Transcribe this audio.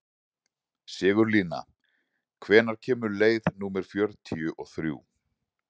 Sigurlína, hvenær kemur leið númer fjörutíu og þrjú?